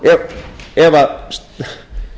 ef stjórnarmeirihlutinn er